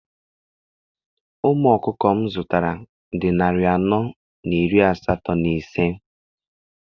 Ụmụ ọkụkọ m zụtara dị narị anọ na iri asatọ na ise.